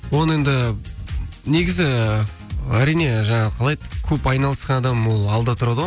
оны енді негізі әрине жаңағы қалай еді көп айналысқан адам ол алда тұрады ғой